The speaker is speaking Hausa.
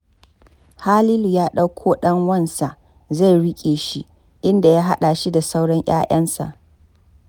Halilu ya ɗakko ɗan wansa, zai riƙe shi, inda ya haɗa shi da sauran 'ya'yansa.